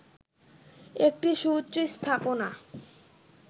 একটি সুউচ্চ স্থাপনা